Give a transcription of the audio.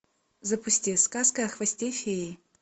запусти сказка о хвосте феи